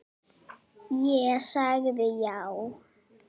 Ég sagði já.